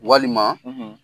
Walima